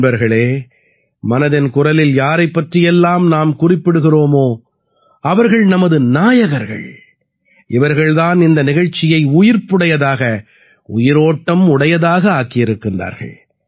நண்பர்களே மனதின் குரலில் யாரைப் பற்றி எல்லாம் நாம் குறிப்பிடுகிறோமோ அவர்கள் நமது நாயகர்கள் இவர்கள் தான் இந்த நிகழ்ச்சியை உயிர்ப்புடையதாக உயிரோட்டமுடையதாக ஆக்கியிருக்கின்றார்கள்